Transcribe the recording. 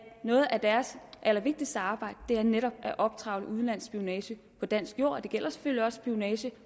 noget af deres allervigtigste arbejde netop er at optrevle udenlandsk spionage på dansk jord og det gælder selvfølgelig også spionage